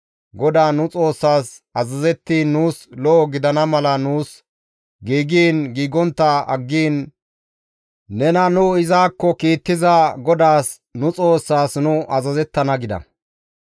GODAA nu Xoossaas azazettiin nuus lo7o gidana mala nuus giigiin giigontta aggiin nena nu izakko kiittiza GODAAS nu Xoossaas nu azazettana» gida.